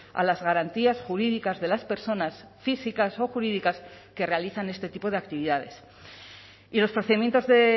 a las garantías jurídicas de las personas físicas o jurídicas que realizan este tipo de actividades y los procedimientos de